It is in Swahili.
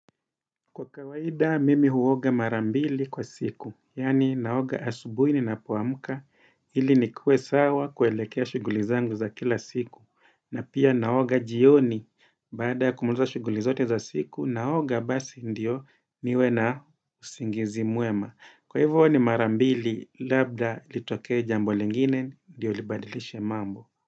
Kwa kawaida, mimi huoga mara mbili kwa siku, yani naoga asubui ninapoamka, ili nikue sawa kuelekea shughuli zangu za kila siku. Na pia naoga jioni, baada kumulza shughuli zote za siku, naoga basi ndio niwe na usingizi mwema. Kwa hivyo ni marambili, labda litokee jambo lingine, dio libadilishe mambo.